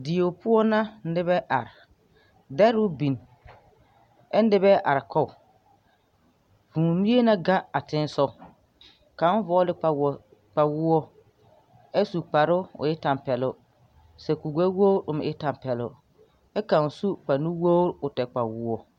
Dieo poɔ na nibɛ are dɛroo bin ɛ nibɛɛ are kɔg vūū mie na gɛŋ a teŋɛsɔg kaŋ vɔɔle kpawoɔ ɛ su kparoo o tɛmpɛloŋ sɛ kuri gbɛwogre o meŋ e tɛnpɛloŋ ɛ kaŋ su kpare nuwogre o tɛr kpawoɔ.